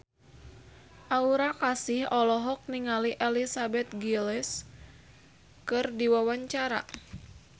Aura Kasih olohok ningali Elizabeth Gillies keur diwawancara